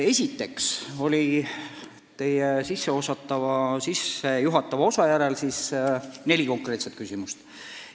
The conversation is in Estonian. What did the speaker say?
Teie sissejuhatava osa järel oli neli konkreetset küsimust.